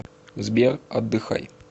сбер отдыхай